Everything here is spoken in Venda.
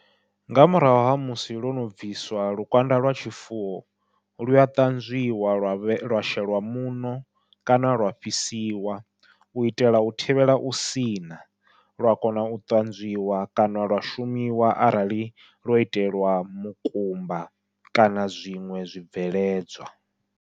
Nga murahu ha musi lwono bviswa lukanda lwa tshifuwo lua ṱanzwiwa lwa vhe lwa sheliwa muṋo kana lwa fhisiwa, u itela u thivhela u siṋa lwa kona u ṱanzwiwa kana lwa shumiwa arali lwo itelwa mukumba kana zwiṅwe zwibveledzwa.